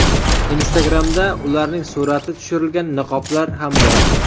Instagram’da ularning surati tushirilgan niqoblar ham bor.